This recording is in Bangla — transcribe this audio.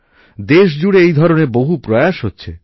দেশজুড়ে এই ধরনের বহু প্রয়াস হচ্ছে